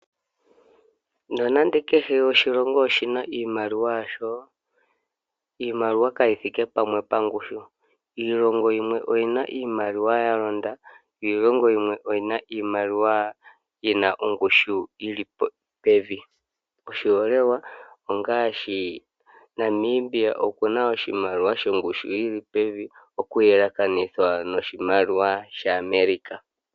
Nonando kehe oshilongo oshina iimaliwa yasho iimaliwa kayithike pamwe pongushu oyina iimaliwa yalonda yo iilongo yimwe oyina iimaliwa yina ongushu yili pevi oshiholelwa ongaashi Namibia okuna oshimaliwa shongushu yoli pevi kuyelekanitha noshimaliwa sha America